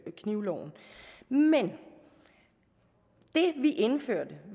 knivloven men det vi indførte